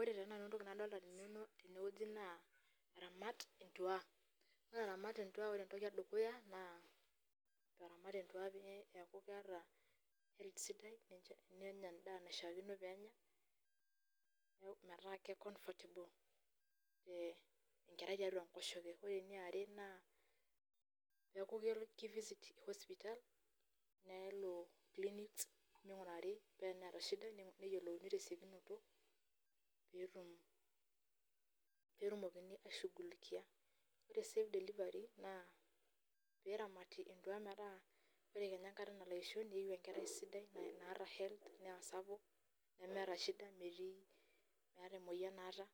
Ore tenakata entoki nadolita teneweji naa, aramata entua ore iramat naa ore entoki edukuya naa aramat entua pee eku keeta health sidai, nenyae enda naishakino pee enya metaa keicomfertable enkerai tiatua enkoshoke ore eniare naa keeku keifisit sipitali nelo clinics paa teneeta shida neingurari neyiolouni tesiokinoto pee etumokini ashungulikia, ore sii delivery naa pee eramati entua metaa ore kenya enkata nalo aisho, neiyu enkerai sidai naata health naa sapuk nemeeta shida, meeta emoyian naata